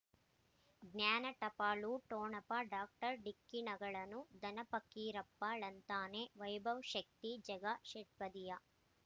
ಜ್ಞಾನ ಟಪಾಲು ಠೊಣಪ ಡಾಕ್ಟರ್ ಢಿಕ್ಕಿ ಣಗಳನು ಧನ ಫಕೀರಪ್ಪ ಳಂತಾನೆ ವೈಭವ್ ಶಕ್ತಿ ಝಗಾ ಷಟ್ಪದಿಯ